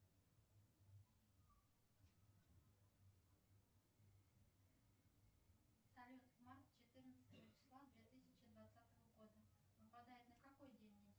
салют март четырнадцатого числа две тысячи двадцатого года выпадает на какой день недели